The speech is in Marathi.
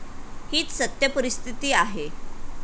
हीच सत्य परिस्थिती आहे.